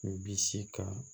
Bisi ka